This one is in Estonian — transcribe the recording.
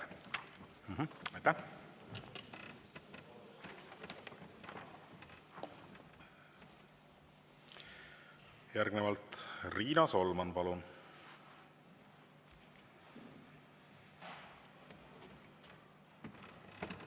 Järgnevalt Riina Solman, palun!